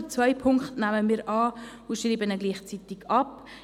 Den zweiten nehmen wir an und schreiben diesen gleichzeitig ab.